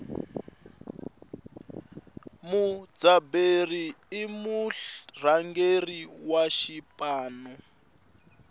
mudzaberi i murhangeri wa xipano